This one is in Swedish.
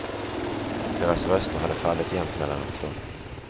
Deras röster hade fallit jämnt mellan de två.